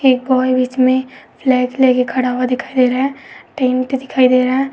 एक बॉय बीच में फ्लैग लेकर खड़ा हुआ दिखाई दे रहा है। टेंट दिखाई दे रहा है।